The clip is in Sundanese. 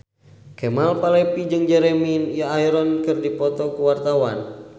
Kemal Palevi jeung Jeremy Irons keur dipoto ku wartawan